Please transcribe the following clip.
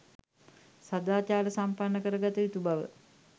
සදාචාර සම්පන්න කර ගත යුතු බව,